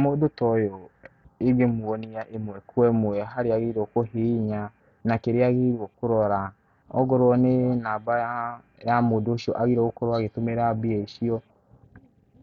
Mũndũ toyũ, ingĩmuonia ĩmwe kwa ĩmwe harĩa agĩrĩirũo kũhihinya, na kĩrĩa agĩrĩirũo kũrora, ongorũo nĩ namba yaa, ya mũndũ ũcio agĩrĩirũo nĩgũkorũo agĩtũmĩra mbia icio,